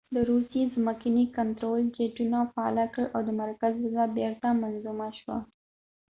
د روسیې ځمکني کنترول جیټونه فعاله کړل او د مرکز وضع بیرته منظمه شوه